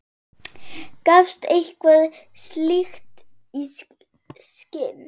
Gafstu eitthvað slíkt í skyn?